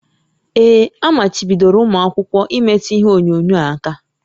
Ee, amachibidoro ụmụ akwụkwọ imetụ ihe onyonyo aka